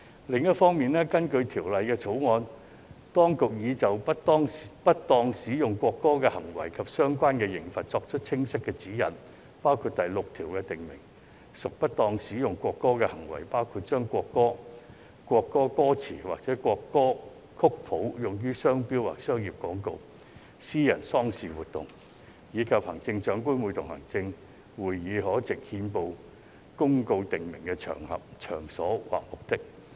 另一方面，根據《條例草案》，當局已就不當使用國歌的行為及相關刑罰作出清晰指引，包括第6條訂明"不當使用國歌的罪行"，包括把國歌、國歌歌詞或國歌曲譜用於商標或商業廣告、私人喪事活動，以及行政長官會同行政會議藉憲報公告訂明的場合、場所或目的。